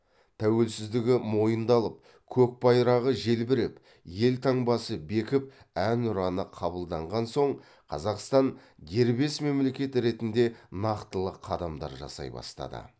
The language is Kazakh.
тәуелсіздігі мойындалып көк байрағы желбіреп елтаңбасы бекіп әнұраны қабылданған соң қазақстан дербес мемлекет ретінде нақтылы қадамдар жасай бастады